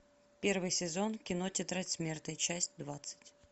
первый сезон кино тетрадь смерти часть двадцать